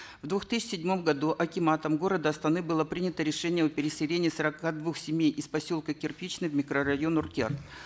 в две тысячи седьмом году акиматом города астаны было принято решение переселения сорока двух семей из поселка кирпичный в микрорайон уркер